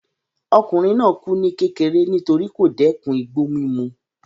Ọkùnrin náà kù ní kékeré nítorí kò dẹ́ẹ̀kun igbó mímu